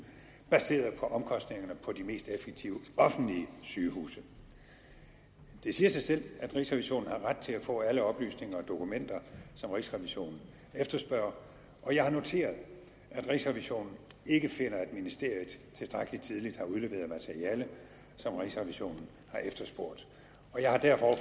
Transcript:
baseret på omkostningerne på de mest effektive offentlige sygehuse det siger sig selv at rigsrevisionen har ret til at få alle oplysninger og dokumenter som rigsrevisionen efterspørger og jeg har noteret at rigsrevisionen ikke finder at ministeriet tilstrækkelig tidligt har udleveret materiale som rigsrevisionen har efterspurgt jeg har derfor